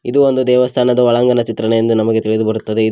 ಇದು ಒಂದು ದೇವಸ್ಥಾನದ ಒಳಾಂಗಣ ಚಿತ್ರಣವೆಂದು ನಮಗೆ ತಿಳಿದು ಬರುತ್ತದೆ.